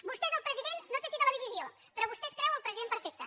vostè és el president no sé si de la divisió però vostè es creu el president perfecte